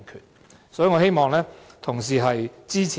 因此，我希望同事支持。